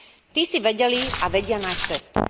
Tí si vedeli a vedia nájsť cestu.